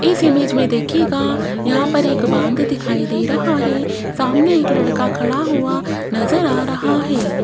इस इमेज में देखिएगा यहां पर एक बांध दिखाई दे रहा है सामने एक लड़का खड़ा हुआ नजर आ रहा है।